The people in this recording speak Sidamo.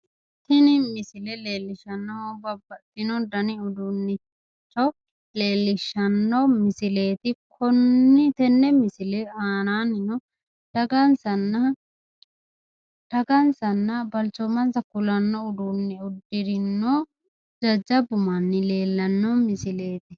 Tini misole leellishshaahu Babbaxxino dani uduunnicho leellishshanno misileeti tenne misile aanaanni dagansanna balchoomansa kulanno uduunne uddirinohu jajjabbu manni leellanno misileeti.